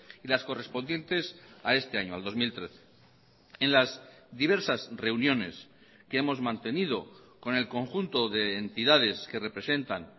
y las correspondientes a este año al dos mil trece en las diversas reuniones que hemos mantenido con el conjunto de entidades que representan